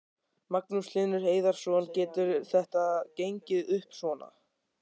Magnús Hlynur Hreiðarsson: Getur þetta gengið upp svona?